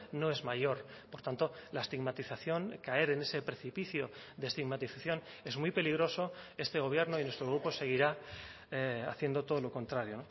no es mayor por tanto la estigmatización caer en ese precipicio de estigmatización es muy peligroso este gobierno y nuestro grupo seguirá haciendo todo lo contrario